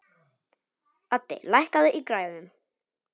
Addi, lækkaðu í græjunum.